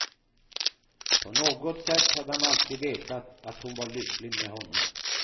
På något sätt hade han alltid vetat att hon var lycklig med honom.